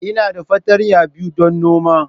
Ina da fartanya biyu don noma.